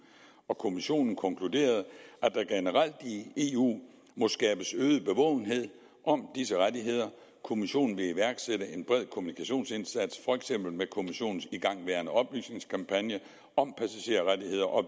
og kommissionen konkluderede at der generelt i eu må skabes øget bevågenhed om disse rettigheder kommissionen vil iværksætte en bred kommunikationsindsats for eksempel med kommissionens igangværende oplysningskampagne om passagerrettigheder og